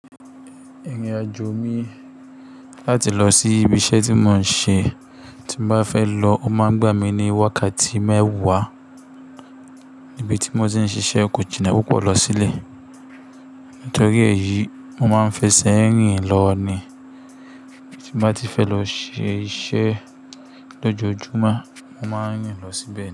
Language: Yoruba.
Ẹìrìn àjò mi láti lọ sí ibi iṣẹ́ tí mò ń ṣe tí ń bá fẹ́ lọ, ó máa ń gbà mí ní wákàtí mẹ́wàá níbi tí mò tí ń ṣiṣẹ́ Kojìnà Púpọ̀ lọ sílẹ̀. Torí èyí, mo máa ń fẹsẹ̀ rìn lọ ní tí bá ti fẹ́ lọ ṣe iṣẹ́ lójoojúmọ́, mo máa ń rìn lọ síbẹ̀.